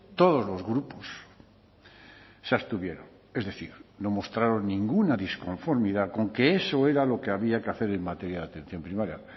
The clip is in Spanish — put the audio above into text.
todos los grupos se abstuvieron es decir no mostraron ninguna disconformidad con que eso era lo que había que hacer en materia de atención primaria